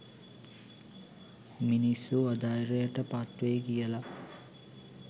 මිනිස්සු අධෛර්යට පත් වෙයි කියලා